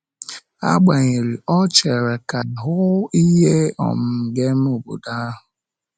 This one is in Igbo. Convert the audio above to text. Agbanyeghị, ọ ọ chere ka “hụ ihe um ga-eme obodo ahụ”.